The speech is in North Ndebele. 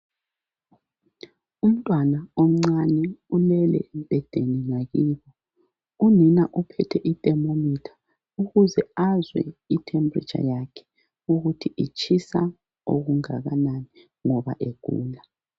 Umntwana umncane ulele embhedeni ngakibo. Unina uphethe I "thermometer "ukuze azwe I "temperature "yakhe ukuthi itshisa okungakanani ngoba egula.